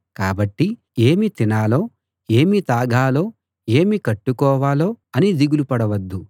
కాబట్టి ఏమి తినాలో ఏమి తాగాలో ఏమి కట్టుకోవాలో అని దిగులు పడొద్దు